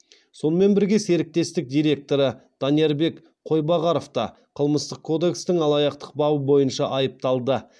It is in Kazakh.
сонымен бірге серіктестік директоры даниярбек қойбағаров та қылмыстық кодекстің алаяқтық бабы бойынша айыпталды